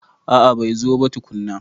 A'a bai zo ba tukunna.